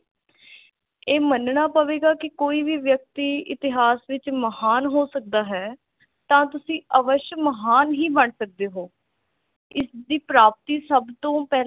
ਇਹ ਮੰਨਣਾ ਪਵੇਗਾ ਕਿ ਕੋਈ ਵੀ ਵਿਅਕਤੀ ਇਤਿਹਾਸ ਵਿਚ ਮਹਾਨ ਹੋ ਸਕਦਾ ਹੈ ਤਾ ਤੁਸੀਂ ਅਵਸ਼ ਮਹਾਨ ਹੀ ਬਣ ਸਕਦੇ ਹੋ ਇਸ ਦੀ ਪ੍ਰਾਪਤੀ ਸਭ ਤੋਂ ਪਹਿਲਾ